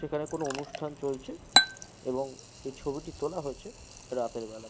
সেখানে কোনো অনুষ্ঠান চলছে এবং এই ছবিটি তোলা হয়েছে রাতের বেলায়।